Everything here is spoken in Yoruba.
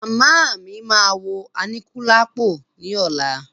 Màmá mí máa wo Aníkúlápò ní ọ̀la.